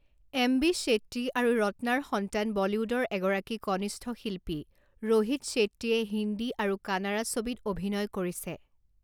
M. B. Shetty আৰু ৰত্নাৰ সন্তান বলীউডৰ এগৰাকী কনিষ্ঠ শিল্পী ৰোহিত শেট্টীয়ে হিন্দী আৰু কানাড়া ছবিত অভিনয় কৰিছে।